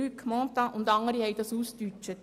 Luc Mentha und andere haben dies formuliert.